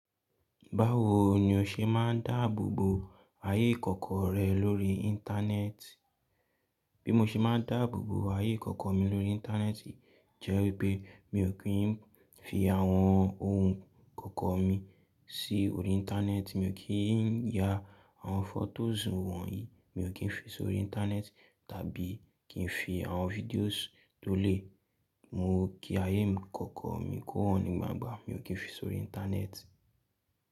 Báwo ni o ṣe máa ń dáàbò bo ayé ìkọ̀kọ̀ rẹ lórí Íńtánẹ́ẹ̀tì? Bí mo ṣe máa ń dáàbò bo ayé ìkọ̀kọ̀ mi lórí Íńtánẹ́ẹ̀tì jẹ́ wípé mi ò kí ń fi àwọn ohun kọ̀kọ̀ mi sí orí Íńtánẹ́ẹ̀tì, mi ò kí ń ya àwọn fọ́tò zúnwọ̀n yìí, mi ò kí ń fi sori Íńtánẹ́ẹ̀tì tàbí kí ń fi àwọn fídíò tó le. Mo kí ayé mi kọ̀kọ̀ mi kó hàn nígbà ńgbà, mi ò kí ń fi sori Íńtánẹ́ẹ̀tì.